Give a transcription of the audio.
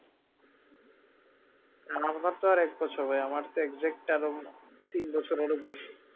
আপনার তো আর এক বছর ভাই আমার তো exact আরো তিন বছর আরও বেশি